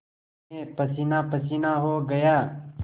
मैं पसीनापसीना हो गया